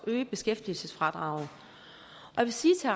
at øge beskæftigelsesfradraget jeg vil sige til